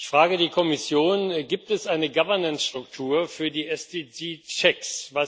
Ich frage die Kommission Gibt es eine Governance Struktur für die SDG checks